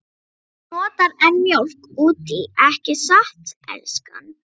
Þú notar enn mjólk út í, ekki satt, elskan?